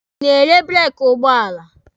Ị na-ere breeki ụgbọala?